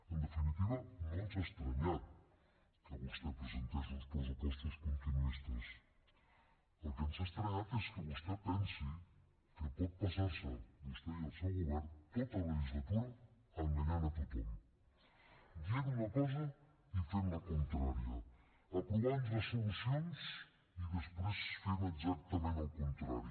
en definitiva no ens ha estranyat que vostè presentés uns pressupostos continuistes el que ens ha estranyat és que vostè pensi que pot passar se vostè i el seu govern tota la legislatura enganyant tothom dient una cosa i fent la contrària aprovant resolucions i després fent exactament el contrari